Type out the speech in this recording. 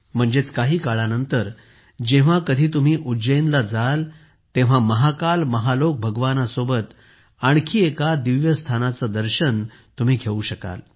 म्हणजेच काही काळानंतर जेव्हा कधी तुम्ही उज्जैनला जाल तेव्हा महाकाल महालोक भगवानासोबत आणखी एका दिव्य स्थानाचे दर्शन तुम्ही घेऊ शकाल